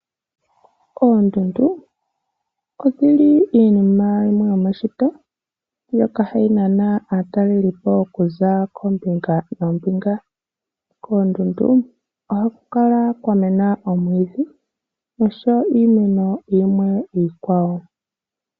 Oondundu odhili iinima yimwe yo meshito, mbyoka hayi nana aatalelipo okuza koombinga noombinga. Koondundu ohaku kala kwa mena omwiidhi nosho wo iimeno yimwe iikwawo.